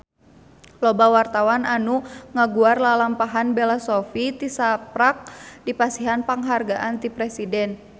Loba wartawan anu ngaguar lalampahan Bella Shofie tisaprak dipasihan panghargaan ti Presiden